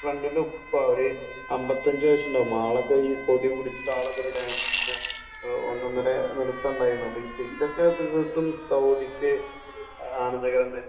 നമ്മളെ ഫ്രണ്ടിന്റെ ഉപ്പ ഒരു അമ്പത്തിഅഞ്ചു വയസ്സുണ്ടാവും അയാളൊക്കെ കൊടിപിടിച്ചു ഡാൻസ് ഒക്കെ ഇങ്ങനെ ഒന്നൊന്നര നൃത്തം ഉണ്ടായിരുന്നു അപ്പൊ ഇതൊക്കെ ഇതൊക്കെ സൗദിക്ക് തീർത്തും ആനന്ദകരം തന്നെ തന്നെ